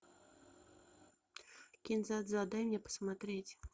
кин дза дза дай мне посмотреть